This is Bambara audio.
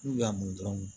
N'u y'a min dɔrɔn